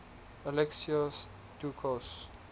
alexios doukas